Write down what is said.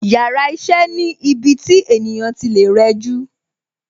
Yàrá iṣẹ́ ni ibi tí ènìyàn tí lè rẹjú